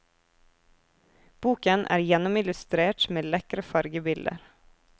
Boken er gjennomillustrert med lekre fargebilder.